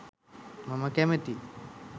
මම කැමතියි.